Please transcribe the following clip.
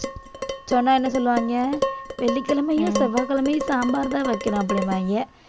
சொன்னா என்ன சொல்லுவாங்க வெள்ளிக்கிழமையும் செவ்வாய்கிழமையும் சாம்பார்தான் வைக்கணும் அப்படிம்பாங்க